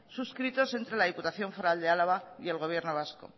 suscritos entre la diputación foral de álava y el gobierno vasco